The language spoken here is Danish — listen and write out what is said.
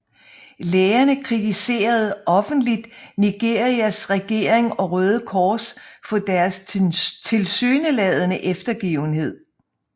Lægerne kritiserede offentligt Nigerias regering og Røde Kors for deres tilsyneladende eftergivenhed